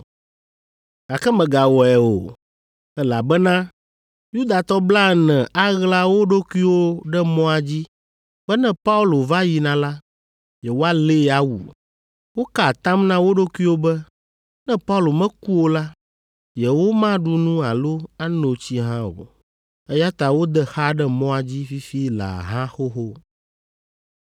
Gake mègawɔe o, elabena Yudatɔ blaene aɣla wo ɖokuiwo ɖe mɔa dzi be ne Paulo va yina la, yewoalée awu. Woka atam na wo ɖokuiwo be, ne Paulo meku o la, yewomaɖu nu alo ano tsi hã o, eya ta wode xa ɖe mɔa dzi fifi laa hã xoxo.”